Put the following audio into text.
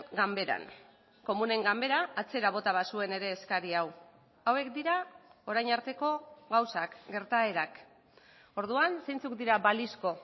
ganberan komunen ganbera atzera bota bazuen ere eskari hau hauek dira orain arteko gauzak gertaerak orduan zeintzuk dira balizko